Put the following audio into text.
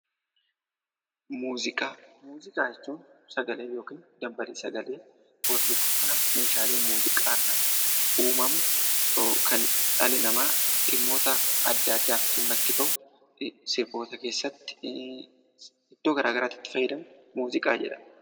Muuziqaa Muuziqaa jechuun sagalee yookiin dambalii sagalee wal rukuttaa sagalee muuziqaa irraa uumamu yookaan dhalli namaa dhimmoota addaa addaatiif dhimma itti bahu sirboota iddoo garaagaraatti itti fayyadamu muuziqaa jedhama.